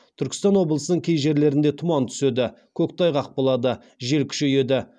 түркістан облысының кей жерлерінде тұман түседі көктайғақ болады жел күшейеді